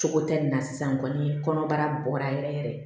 Cogo tɛ nin na sisan kɔni bara bɔra yɛrɛ yɛrɛ